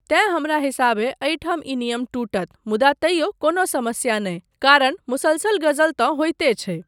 तेँ हमरा हिसाबेँ एहि ठाम ई नियम टूटत मुदा तैयो कोनो समस्या नहि कारण मुसलसल गजल तँ होइते छै।